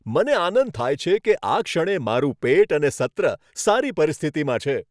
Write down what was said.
મને આનંદ થાય છે કે આ ક્ષણે મારું પેટ અને સત્ર સારી પરિસ્થિતિમાં છે.